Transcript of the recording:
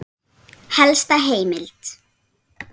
Helsta heimild